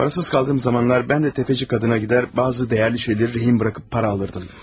Parasız qaldığım zamanlar mən də təfəçi qadına gedər, bəzi dəyərli şeyləri rehin buraxıb para alırdım.